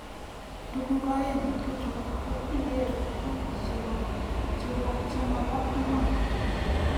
Tuku aeng eng chutok ko ikere tuku chema bo iman.